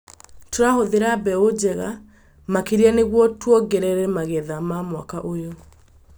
Tũrahũthĩra mbeũ njega makĩria nĩguo tũongerera magetha ma mwaka ũyũ.